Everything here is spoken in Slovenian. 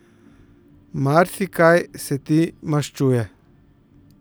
Marsikaj se ti maščuje.